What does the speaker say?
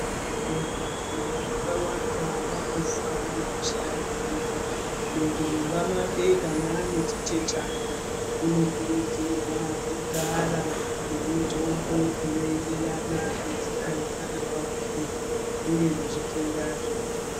Vantu vakawanda vanofa ngekushaya zivo. Muntu mumba make kana ane chichechana unokurudzirwa kugara nemitombo inoenderana nezera remwana wake uye nezvitenda zviriyo.